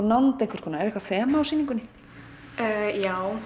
nánd einhvers konar er eitthvað þema á sýningunni já